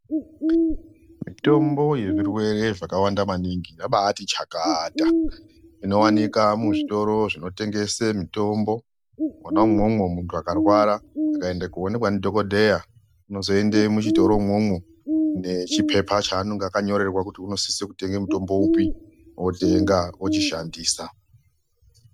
Mitombo yezvirwere zvakawanda maningi yabaati chakata inowanika muzvitoro zvinotengese mitombo. Mwona umwomwo muntu akarwara akaende koonekwa ndidhogodheya unozoende muchitoro umwomwo nechipepa chaanonga akanyorerwa kuti unosise kutenge mutombo upi, otenga, ochishandisa.